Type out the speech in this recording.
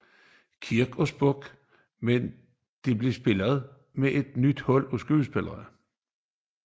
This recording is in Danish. Kirk og Spock men de bliver spillet af et nyt hold af skuespillere